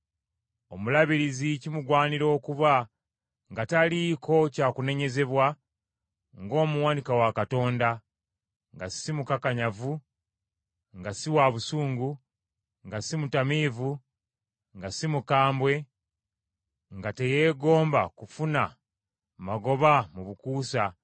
Omulabirizi kimugwanira okuba nga taliiko kya kunenyezebwa ng’omuwanika wa Katonda, nga si mukakanyavu, nga si wa busungu, nga si mutamiivu, nga si mukambwe, nga teyeegomba kufuna magoba mu bukuusa